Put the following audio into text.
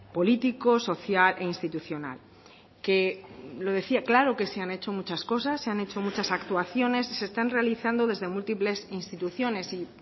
políticos social e institucional que lo decía claro que se han hecho muchas cosas se han hecho actuaciones se están realizando desde múltiples instituciones y